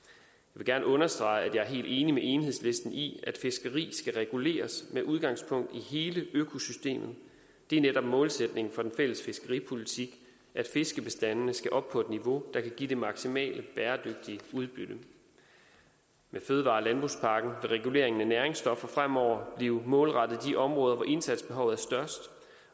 vil gerne understrege at jeg er helt enig med enhedslisten i at fiskeri skal reguleres med udgangspunkt i hele økosystemet det er netop målsætningen for den fælles fiskeripolitik at fiskebestandene skal op på et niveau der kan give det maksimale bæredygtige udbytte med fødevare og landbrugspakken vil reguleringen af næringsstoffer fremover blive målrettet de områder hvor indsatsbehovet er størst